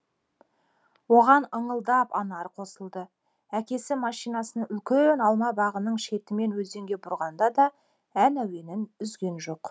оған ыңылдап анар қосылды әкесі машинасын үлкен алма бағының шетімен өзенге бұрғанда да ән әуенін үзген жоқ